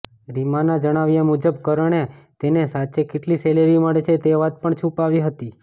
રીમાના જણાવ્યા મુજબ કરણે તેને સાચે કેટલી સેલેરી મળે છે તે વાત પણ છૂપાવી હતી